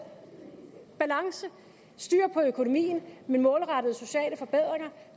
balance styr på økonomien med målrettede sociale forbedringer